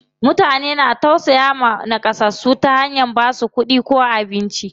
Mutane na tausayawa naƙasassu ta hanyar basu kuɗi ko abinci.